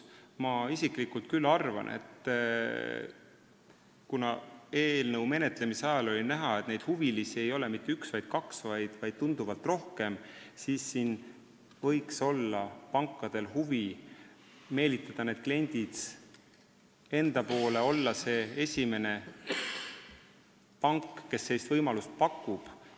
Ma isiklikult küll arvan, et kuna eelnõu menetlemise ajal oli näha, et huvilisi ei ole mitte üks või kaks, vaid tunduvalt rohkem, siis võiks pankadel olla huvi meelitada neid kliente enda poole, olla esimene pank, kes sellist võimalust pakub.